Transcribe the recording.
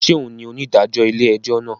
Ṣe òun ní onidajọ ilé-ẹjọ náà?